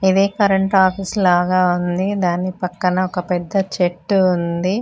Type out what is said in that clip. ఇది current office లాగా ఉంది దాని పక్కన ఒక పెద్ద చెట్టు ఉంది.